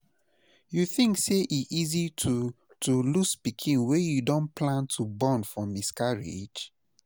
You think say e easy to to lose pikin wey you don plan to born for miscarriage?